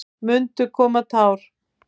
Munu koma tár?